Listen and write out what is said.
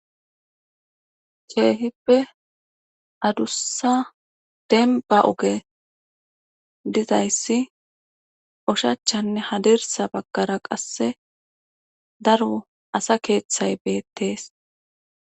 Keehippe adussa demba oge dizayssi ushachanne hadirsa baggara qasse daro asa keeththay beettees.